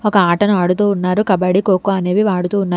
ఒక ఆటని ఆడుతూ ఉన్నారు కబడి కోకో అనేవి ఆడుతూ ఉన్నారు.